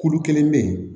Kulu kelen bɛ yen